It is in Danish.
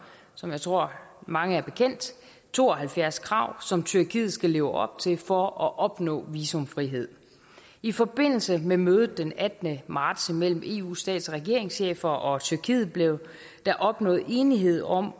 som jeg tror det mange bekendt to og halvfjerds krav som tyrkiet skal leve op til for at opnå visumfrihed i forbindelse med mødet den attende marts mellem eus stats og regeringschefer og tyrkiet blev der opnået enighed om